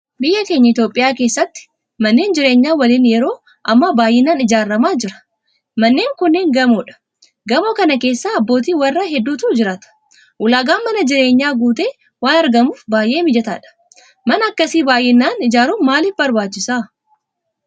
Biyya keenya Itoophiyaa keessatti manneen jireenya waliinii yeroo ammaa baay'inaan ijaaramaa jira. Manneen kunneen gamoodha. Gamoo kana keessa abbootii warraa hedduutu jiraata. Ulaagaan mana jireenyaa guutee waan argamuuf baay'ee mijataadha. Mana akkasii baay'inaan ijaaruun maaliif barbaachise?